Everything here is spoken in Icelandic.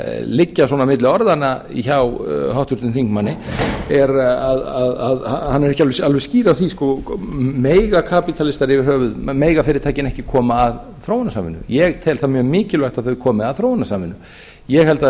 liggja svona milli orðanna hjá háttvirtum þingmanni er að hann er ekki alveg skýr á því mega kapitalistar yfir höfuð mega fyrirtækin ekki koma að þróunarsamningum ég tel það mjög mikilvægt að þau komi að þróunarsamningum ég held að það sé